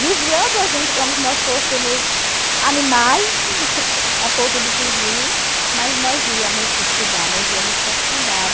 vigiando a gente como se nós fôssemos animais a ponto de fugir, mas nós íamos estudar, nós íamos para a cidade.